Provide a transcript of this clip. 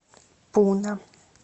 пуна